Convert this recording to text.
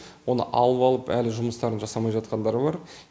оны алып алып әлі жұмыстарын жасамай жатқандар бар